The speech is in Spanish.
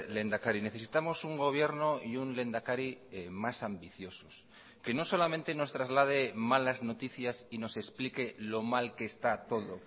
lehendakari necesitamos un gobierno y un lehendakari más ambiciosos que no solamente nos traslade malas noticias y nos explique lo mal que está todo